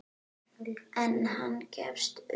En hann gefst upp.